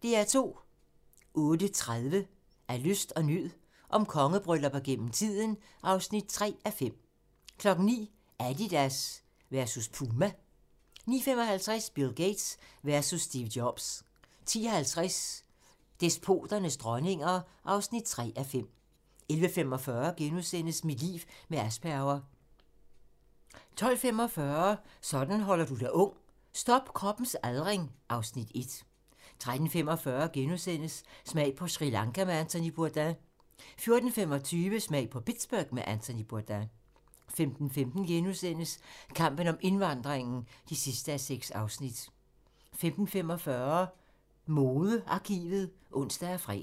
08:30: Af nød og lyst - om kongebryllupper gennem tiden (3:5) 09:00: Adidas versus Puma 09:55: Bill Gates versus Steve Jobs 10:50: Despoternes dronninger (3:5) 11:45: Mit liv med Asperger * 12:45: Sådan holder du dig ung: Stop kroppens aldring (Afs. 1) 13:45: Smag på Sri Lanka med Anthony Bourdain * 14:25: Smag på Pittsburgh med Anthony Bourdain 15:15: Kampen om indvandringen (6:6)* 15:45: Modearkivet (ons og fre)